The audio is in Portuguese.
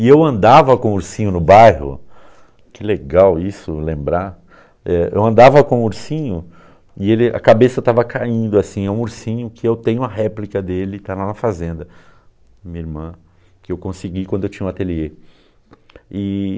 E eu andava com o ursinho no bairro, que legal isso lembrar, eh, eu andava com o ursinho e ele e a cabeça estava caindo assim, é um ursinho que eu tenho a réplica dele, está lá na fazenda, minha irmã, que eu consegui quando eu tinha um ateliê. E...